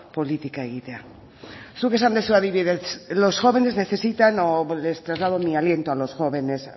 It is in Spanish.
politika egitea zuk esan duzu adibidez los jóvenes necesitan o les traslado mi aliento a los jóvenes